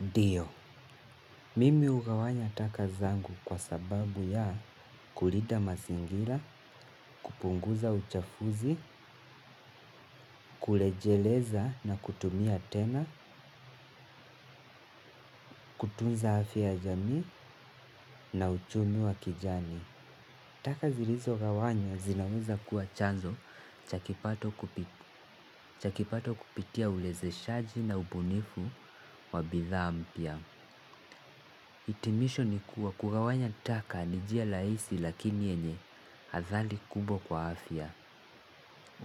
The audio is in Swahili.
Ndio, mimi hugawanya taka zangu kwa sababu ya kulida mazingira, kupunguza uchafuzi, kurejeleza na kutumia tena, kutunza afya ya jamii na uchumi wa kijani. Taka zilizogawanya zinaweza kuwa chanzo cha kipato kupitia ulezeshaji na ubunifu wa bidhaa mpya. Hitimisho ni kuwa kugawanya taka ni njia rahisi lakini yenye hadhari kubwa kwa afya,